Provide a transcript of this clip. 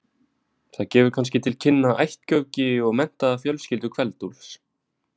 Það gefur kannski til kynna ættgöfgi og metnað fjölskyldu Kveld-Úlfs.